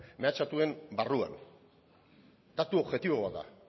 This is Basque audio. mehatxatuen barruan datu objektibo bat da